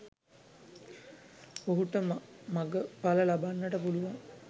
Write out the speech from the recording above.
ඔහුට මගඵල ලබන්නට පුළුවන්